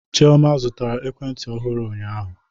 Chioma zụtara ekwentị ọhụrụ ụnyaahụ